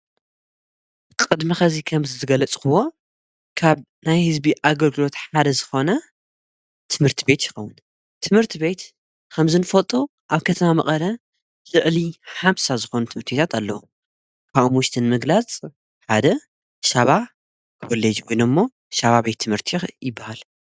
ቕድሚ ኸዚይ ኸምዝዝገለጽኽዎ ካብ ናይ ሕዝቢ ኣገርግሎት ሓደ ዝኾነ ትምህርቲ ቤት የኸዉን ትምህርቲ ቤት ኸምዝንፈጦ ኣብ ከተማ መቐረ ዝዕሊ ሓምሳ ዝኾነ ትምቱይታት ኣለዉ ካኡሙውሽትን ምግላጽ ሓደ ሻባ ክበልጅውኖ እሞ ሻባ ቤይ ትምህርቲ ይበሃል።